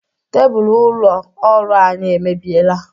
Tebulu ụlọ ọrụ anyị emebieela.